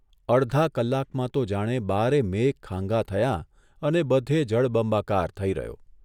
અડધા કલાકમાં તો જાણે બારે મેઘ ખાંગા થયાં અને બધે જળબંબાકાર થઇ રહ્યો.